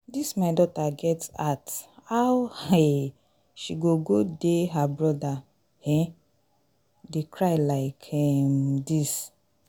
dis my daughter get heart how um she go go dey her brother um dey cry like um dis?